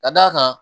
Ka d'a kan